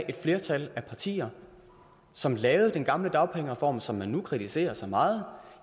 et flertal af partier som lavede den gamle dagpengereform som man nu kritiserer så meget